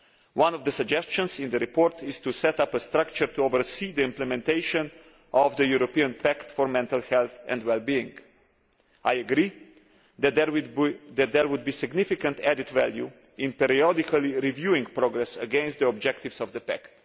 One of the suggestions in the report is to set up a structure to oversee the implementation of the European Pact for Mental Health and Wellbeing. I agree that there would be significant added value in periodically reviewing progress against the objectives of the pact.